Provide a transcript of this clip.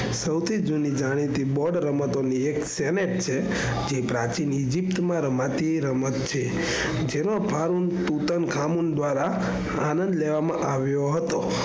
સૌથી જુની જાણીતી board રમતો માની એક છે. જે પ્રાચીન ઇજિપ્ત માં રમાતી રમત છે. જેમાં ફારુલ, તૂટલ દ્વારા આનંદ લેવામાં આવ્યો હતો.